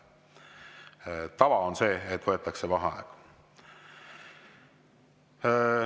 Tava on see, et võetakse vaheaeg.